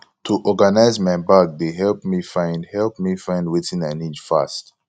to organize my bag dey help me find help me find wetin i need fast